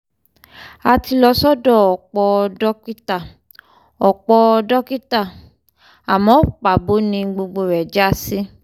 a ti lọ sọ́dọ̀ ọ̀pọ̀ dókítà ọ̀pọ̀ dókítà àmọ́ pàbó ni gbogbo rẹ̀ já sí